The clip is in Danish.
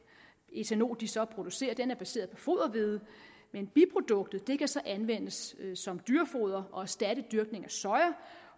ætanol de så producerer er baseret på foderhvede men biproduktet kan så anvendes som dyrefoder og erstatte dyrkning af soja